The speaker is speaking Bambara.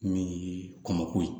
Min ye kɔnku ye